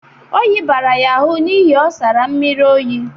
Oyi bara ya ahụ n'ihi ọ sara mmiri oyi.